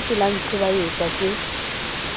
se ke la ntlhobaetsa ke